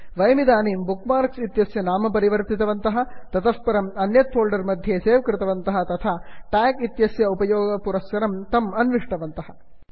वयमिदानीं bookmarks इत्यस्य नाम परिवर्तितवन्तः ततः परम् अन्यत् फोल्डर् मध्ये सेव् कृतवन्तः तथा ट्याग् इत्यस्य उपयोगपुरःसरं तत् अन्विष्टवन्तः